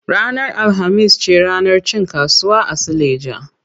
Ranar alhamis ce ranar cin kasuwa a suleja.